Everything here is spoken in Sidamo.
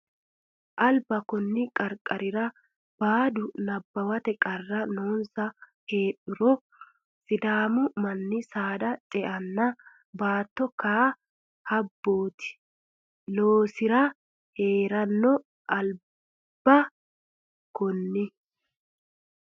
Alba konni qarqarira boodu Nabbawate qarri noonsa heedhuro Sidaamu manni saada ce enna batto kaa habbooti loosi re hee ranno Alba konni.